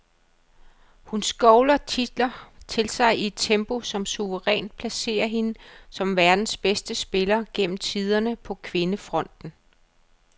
Hun skovler titler til sig i et tempo, som suverænt placerer hende som verdens bedste spiller gennem tiderne på kvindefronten.